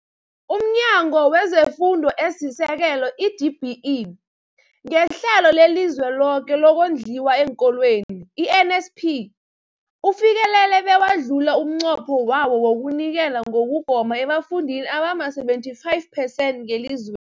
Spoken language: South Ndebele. UmNyango wezeFundo esiSekelo, i-DBE, ngeHlelo leliZweloke lokoNdliwa eenKolweni, i-NSNP, ufikelele bewadlula umnqopho wawo wokunikela ngokugoma ebafundini abama-75 percent ngeliz